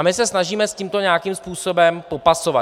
A my se snažíme s tímto nějakým způsobem popasovat.